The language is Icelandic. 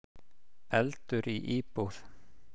Eldur í íbúð